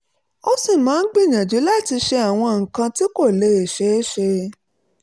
ó sì máa ń gbìyànjú láti ṣe àwọn nǹkan tí kò lè ṣeé ṣe